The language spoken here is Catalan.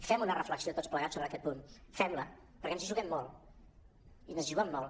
fem una reflexió tots plegats sobre aquest punt fem·la perquè ens hi ju·guem molt ens hi juguem molt